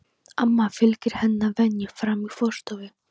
Amma fylgir henni að venju fram í forstofu.